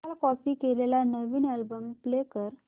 काल कॉपी केलेला नवीन अल्बम प्ले कर